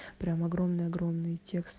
прямо огромный огромный текст